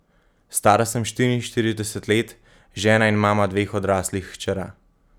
Stara sem štiriinštirideset let, žena in mama dveh odraslih hčera.